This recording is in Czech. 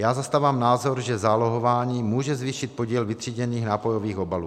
Já zastávám názor, že zálohování může zvýšit podíl vytříděných nápojových obalů.